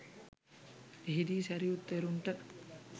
එහිදී සැරියුත් තෙරුන්ට